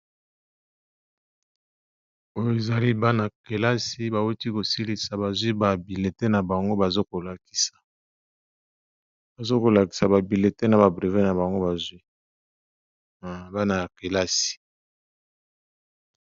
Oyo ezali bana-kelasi bauti kosilisa bazwi babile te na bango bazo kolakisa bazo kolakisa babile te na babrevé na bango bazwi bana ya kelasi